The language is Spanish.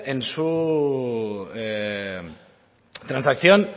en su transacción